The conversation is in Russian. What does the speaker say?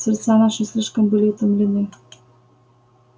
сердца наши слишком были утомлены